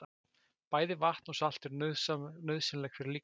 Bæði vatn og salt eru nauðsynleg fyrir líkamann.